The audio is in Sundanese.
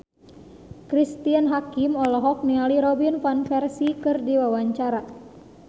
Cristine Hakim olohok ningali Robin Van Persie keur diwawancara